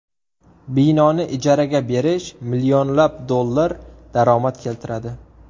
Binoni ijaraga berish millionlab dollar daromad keltiradi.